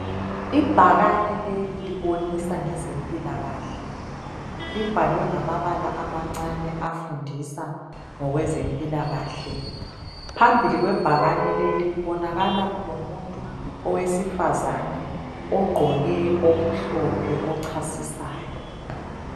Ibhakani leli libonisa ngezempilakahle libhalwe ngamabala amancane afundisa ngokwezempilakahle phambili kwebhakane leli kubonakala kulomuntu owesifazana ogqoke okumhlophe ochasisayo.